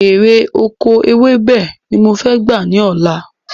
Èrè oko ewébè ni mo fẹ́ gbà ni ọ̀la